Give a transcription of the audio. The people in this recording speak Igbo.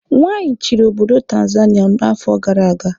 Nwaanyị chịrị obodo Tanzania n'afọ gara aga.